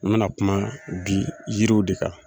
N mɛna kuma bi yiriw de kan.